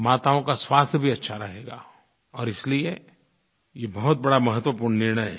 माताओं का स्वास्थ्य भी अच्छा रहेगा और इसलिये ये बहुत बड़ा महत्वपूर्ण निर्णय है